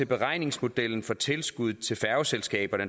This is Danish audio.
beregningsmodellen for tilskud til færgeselskaberne